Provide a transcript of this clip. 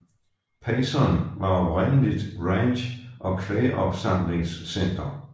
Payson var oprindeligt ranch og kvægopsamlingscenter